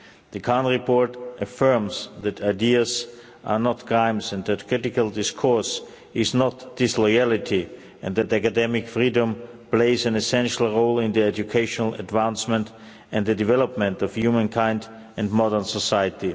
The Khan report affirms that ideas are not crimes and that critical discourse is not disloyalty and that academic freedom plays an essential role in educational advancement and the development of humankind in modern society.